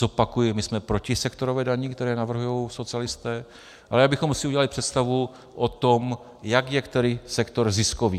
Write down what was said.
Zopakuji, my jsme proti sektorové dani, kterou navrhují socialisté, ale abychom si udělali představu o tom, jak je který sektor ziskový.